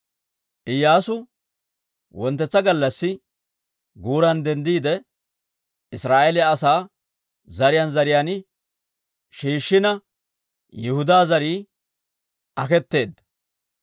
Iyyaasu wonttetsa gallassi guuran denddiide, Israa'eeliyaa asaa zariyaan zariyaan shiishshina Yihudaa zarii aketeedda.